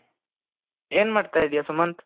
ಏನ್ ಮಾಡ್ತಾ ಇದ್ದೀಯಾ ಸುಮಂತ್,